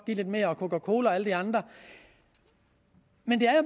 give lidt mere og coca cola og alle de andre men det